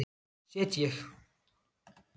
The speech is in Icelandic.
set ég